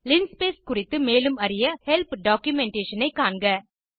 linspace குறித்து மேலும் அறிய ஹெல்ப் டாக்குமென்டேஷன் ஐ காண்க